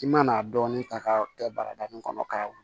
I mana dɔɔnin ta k'a kɛ barada min kɔnɔ k'a wolo